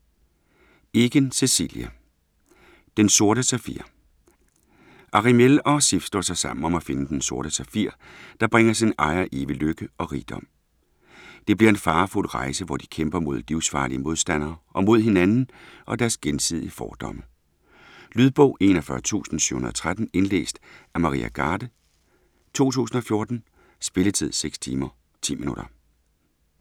Eken, Cecilie: Den sorte safir Aramiel og Sif slår sig sammen om at finde den Sorte Safir, der bringer sin ejer evig lykke og rigdom. Det bliver en farefuld rejse hvor de både kæmper mod livsfarlige modstandere og mod hinanden og deres gensidige fordomme. Lydbog 41713 Indlæst af Maria Garde, 2014. Spilletid: 6 timer, 10 minutter.